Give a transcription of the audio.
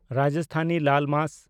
ᱨᱟᱡᱚᱥᱛᱷᱟᱱᱤ ᱞᱟᱞ ᱢᱟᱥ